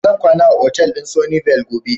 Zan kwana a otal din Sunny Vale gobe.